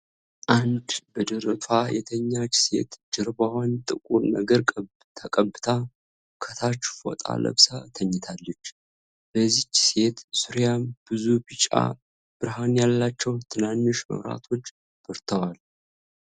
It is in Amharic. አንድ በደረቷ የተኛች ሴት ጀርባዋን ጥቁር ነገር ተቀብታ ከታች ፎጣ ለብሳ ተኝታለች። በዚች ሴት ዙሪያም ብዙ ቢጫ ብርሃን ያላቸው ትናንሽ መብራቶች በርተዋል።